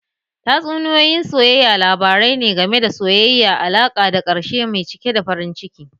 Tatsuniyoyi na soyayya labarai ne game da soyayya, alaƙa da ƙarshe mai cike da farin ciki.